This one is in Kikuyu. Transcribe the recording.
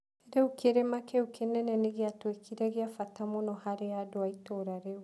Rĩu kĩrĩma kĩu kĩnene nĩ gĩatuĩkire kĩa bata mũno harĩ andũ a itũũra rĩu.